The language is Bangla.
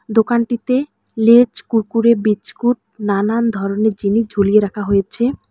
দোকানটিতে লেজ কুরকুরে বিছকুট নানান ধরনের জিনিস ঝুলিয়ে রাখা হয়েছে।